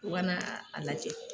U ka na a la kɛ.